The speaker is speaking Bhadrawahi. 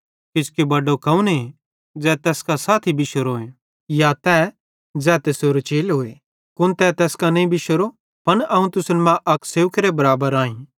किजोकि बड्डो कौने ज़ै तैस कां साथी बिशोरोए या तै ज़ै तैसेरो चेलोए कुन तै तैस कां नईं बिशोरो पन अवं त तुसन मां अक सेवकेरे बराबर आईं